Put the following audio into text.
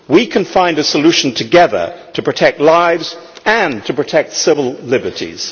We can find a solution together to protect lives and to protect civil liberties.